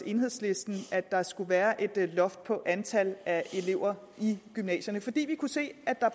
enhedslistens at der skulle være et loft for antallet af elever i gymnasierne fordi vi kunne se at